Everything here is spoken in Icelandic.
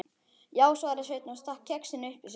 Já, svaraði Sveinn og stakk kexinu upp í sig.